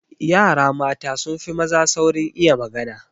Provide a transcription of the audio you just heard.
Yara mata sun fi maza saurin iya magana.